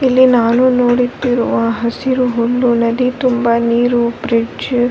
ಇಲ್ಲಿ ನಾನು ನೋಡುತ್ತಿರುವ ಹಸಿರು ಹುಲ್ಲು ನದಿ ತುಂಬಾ ನೀರು ಬ್ರಿಡ್ಜ್ --